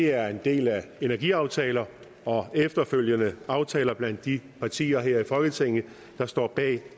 er en del af energiaftaler og efterfølgende aftaler blandt de partier her i folketinget der står bag